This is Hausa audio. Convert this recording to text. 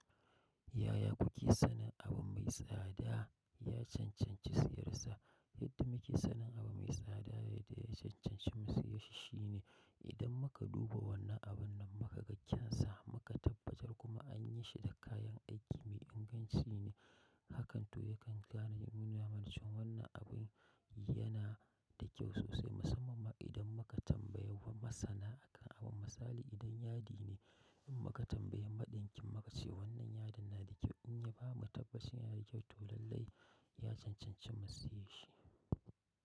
Yaya kuke sanin abu mai tsada ya cancanci siyar sa? Yadda muke sanin abu mai tsada ya dai cancanci mu saye shi shine idan muka duba wannan abun nan muka ga kyan sa muka tabbatar kuma an yi shi da kayan aiki mai inganci ne, hakan to ya kan gane in nuna cewa wannan abin yana da kyau sosai musamman ma idan muka tambaya wa masana akan abun. Misali idan yadi ne in muka tambaya madinkin mu kace wannan yadin na da kyau in ya bamu tabbas yana da kyau to lallai ya cancanci mu siye shi.